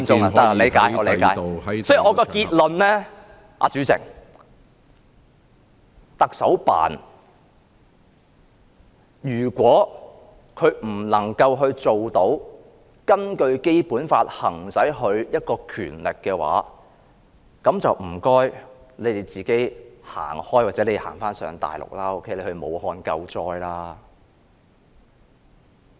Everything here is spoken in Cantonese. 所以，主席，我的結論是，如果特首辦無法根據《基本法》行使其權力，就請他們自行離開，或去大陸，到武漢救災。